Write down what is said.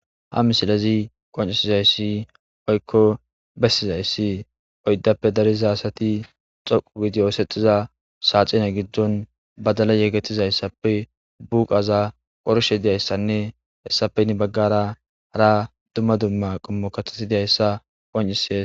ha misilezi qoncisizayssi oykko bessizayssi oyddappe dariza asati xoqu widiyosexiza saaxina giddon badala yegetizayssappe buqaza qorshe diyayssanne hessapenni baggara ara dumma dumma qummo katasidiyayssa qoncisia